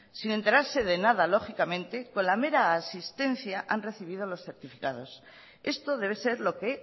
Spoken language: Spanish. sin enterarse de nada lógicamente con la mera asistencia han recibido los certificados esto debe ser lo que